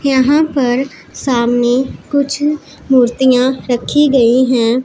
यहां पर सामने कुछ मूर्तियां रखी गई हैं।